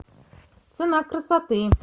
цена красоты